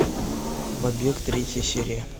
побег третья серия